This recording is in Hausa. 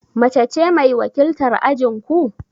Mace ce mai wakiltar ajin ku?